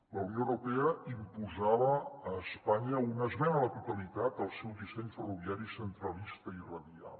la unió europea imposava a espanya una esmena a la totalitat al seu disseny ferroviari centralista i radial